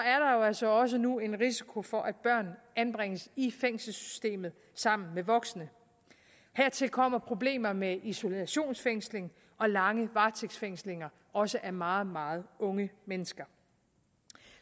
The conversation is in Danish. altså også nu en risiko for at børn anbringes i fængselssystemet sammen med voksne hertil kommer problemer med isolationsfængsling og lange varetægtsfængslinger også af meget meget unge mennesker